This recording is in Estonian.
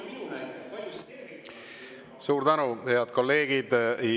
Suur tänu, head kolleegid!